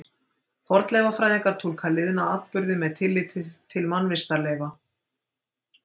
Fornleifafræðingar túlka liðna atburði með tilliti til mannvistarleifa.